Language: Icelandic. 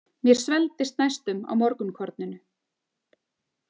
Mér svelgdist næstum á morgunkorninu.